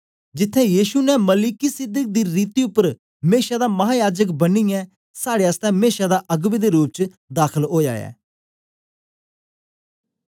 जिथें यीशु ने मलिकिसिदक दी रीति उपर मेशा दा महायाजक बनियै साड़े आसतै मेशा दा अगबें दे रूप च दाखल ओया ऐ